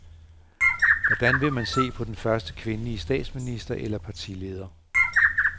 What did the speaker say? Hvornår vil man se den første kvindelige statsminister eller partileder.